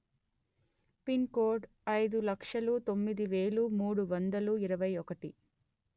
pin code అయిదు లక్షలు తొమ్మిది వెలు మూడు వందలు ఇరవై ఒకటి